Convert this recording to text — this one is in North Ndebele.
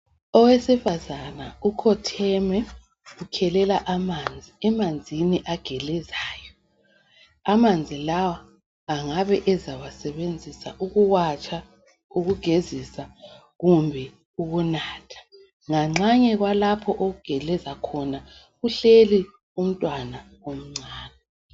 Owesifazana ukhotheme ukhelela amanzi, emanzini agelezayo amanzi lawa angabe ezawasebenzisa ukuwatsha ukugezisa kumbe ukunatha. Nganxanye kwalapho okugeleza khona kuhleli umntwana omncane.